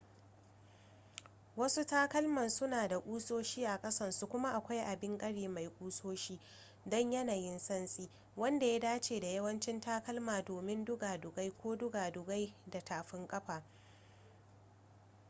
wasu takalman suna da ƙusoshi a ƙasansu kuma akwai abin ƙari mai ƙusoshi don yanayin santsi wanda ya dace da yawancin takalma domin dugadugai ko dugadugai da tafin kafa